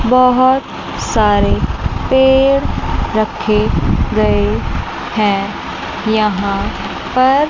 बहुत सारे पेड़ रखे गए हैं यहां पर।